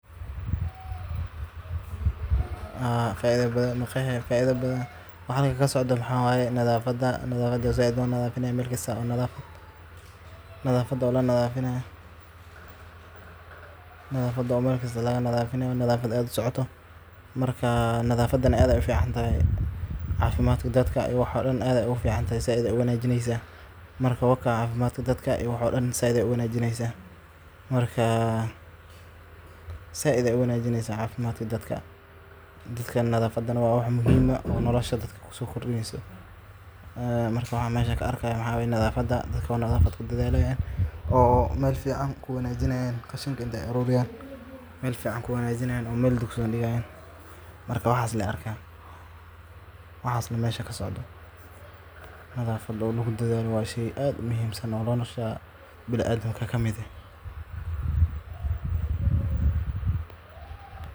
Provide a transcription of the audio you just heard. Nadaafaddu waa arrin aad muhiim ugu ah nolosha bini’aadamka waxayna door weyn ka ciyaartaa ilaalinta caafimaadka iyo badbaadada guud ee bulshada. Nadaafaddu waxay ka bilaabataa qofka naftiisa, sida nadaafadda jidhka, dharka, iyo deegaanka uu ku nool yahay. Marka qofku si joogto ah isu nadiifiyo, sida inuu qubeysto, cadaydo, timaha jaro, iyo uu dharkiisa si nadiif ah u labisto, wuxuu ka hortagayaa cudurro badan oo ka dhasha wasakhda, sida cudurrada maqaarka, neefmareenka, iyo kuwa caloosha. Nadaafadda deegaanka sidoo kale waa lama huraan, sababtoo ah haddii qashin lagu daadiyo meel walba ama biyo wasakhaysan ay istaagaan, waxay keeni karaan fiditaanka cudurro halis ah.